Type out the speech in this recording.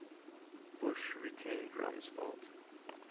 bush retained rumsfeld